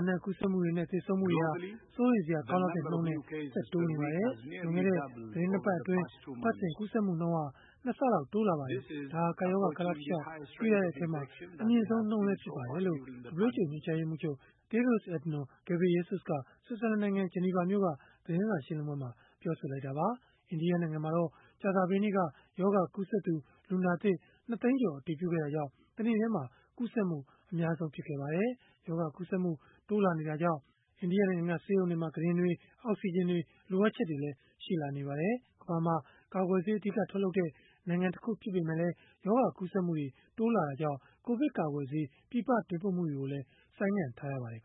အနှံ့ ကူးစက်မှုတွေနဲ့ သေဆုံးမှုတွေဟာ စိုးရိမ်စရာ ကောင်းလောက်တဲ့နှုန်းနဲ့ ဆက်တိုးနေပါတယ်။ လွန်ခဲ့တဲ့ သီတင်း ၂ ပတ်အတွင်း အပတ်စဉ်ကူးစက်မှုနှုန်းဟာ ၂ ဆလောက် တိုးလာပါတယ်။ ဒါဟာ ကပ်ရောဂါ ကာလတလျှောက် တွေ့ရတဲ့ အထဲမှာ အမြင့်ဆုံးနှုန်းလည်း ဖြစ်ပါတယ်။” လို့ WHO ညွှန်ကြားရေးမှူးချုပ် Tedros Adhanom Ghebreyesus က ဆွစ်ဇာလန်နိုင်ငံ ဂျနီဗာမြို့က သတင်းစာရှင်းလင်းပွဲမှာ ပြောဆိုသွားတာပါ။ အိန္ဒိယနိုင်ငံမှာတော့ ကြာသပတေးနေ့က ရောဂါကူးစက်သူ လူနာသစ် ၂ သိန်းကျော် အတည်ပြုခဲ့တာကြောင့် တနေ့တည်းမှာ ကူးစက်မှု အများဆုံးဖြစ်ခဲ့ပါတယ်။ ရောဂါကူးစက်မှု တိုးလာနေတာကြောင့် အိန္ဒိယနိုင်ငံမှာ ဆေးရုံကုတင်တွေ၊ အောက်စီဂျင်တွေ လိုအပ်ချက်တွေလည်း ရှိနေပါတယ်။ ကမ္ဘာမှာ ကာကွယ်ဆေး အဓိကထုတ်လုပ်တဲ့ နိုင်ငံတခု ဖြစ်ပေမဲ့လည်း ရောဂါကူးစက်မှုတွေ တိုးလာတာကြောင့် ကိုဗစ်ကာကွယ်ဆေး ပြည်ပတင်ပို့မှုတွေကိုလည်း ဆိုင်းငံ့ထားရပါတယ်